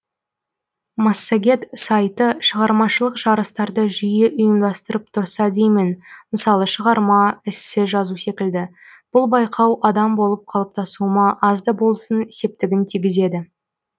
массагет сайты шығармашылық жарыстарды жиі ұйымдастырып тұрса деймін мысалы шығарма эссе жазу секілді бұл байқау адам болып қалыптасуыма аз да болсын септігін тигізеді